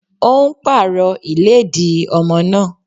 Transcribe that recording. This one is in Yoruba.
Ó ń pàrọ̀ ìlédìí ọmọ náà.